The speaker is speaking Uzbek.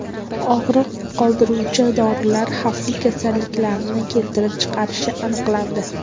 Og‘riq qoldiruvchi dorilar xavfli kasalliklarni keltirib chiqarishi aniqlandi.